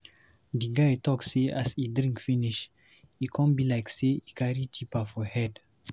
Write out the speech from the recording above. Di guy talk sey as e drink finish, e come be like sey e carry tipa for head.